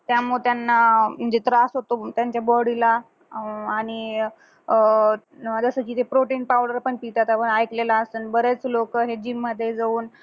त्यामुळं त्यांना म्हणजे त्रास होतो त्यांच्या body ला अं आणि अह ते protein powder पण पितात आपण ऐकलेलं असणं बरेच लोक हे gym मध्ये जाऊन